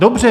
Dobře.